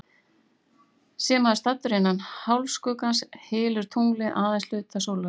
Sé maður staddur innan hálfskuggans, hylur tunglið aðeins hluta sólarinnar.